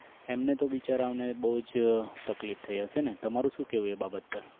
એમને તો વિચારો ને બહુ તકલીફ થઇ હશે ને તમારું શું કહેવું એ બાબત પર